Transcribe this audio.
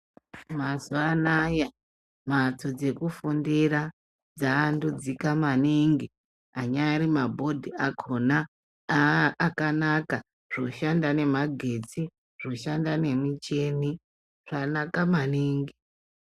Mazuwa anaya mhatso dzekufundira dzaandudzika maningi, anyari mabhodi akhona aaakanaka zvoshanda nemagetsi, zvoshanda nemichini, zvanaka maningi.